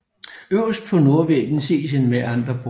Øverst på nordvæggen ses en mæanderbort